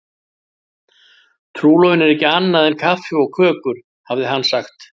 Trúlofun er ekki annað en kaffi og kökur, hafði hann sagt.